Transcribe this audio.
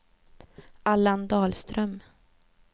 Allan Dahlström